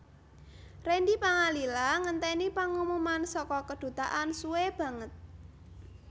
Randy Pangalila ngenteni pengumuman saka kedutaan suwe banget